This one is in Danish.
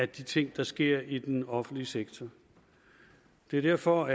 de ting der sker i den offentlige sektor det er derfor